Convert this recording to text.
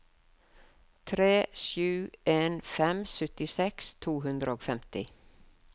tre sju en fem syttiseks to hundre og femti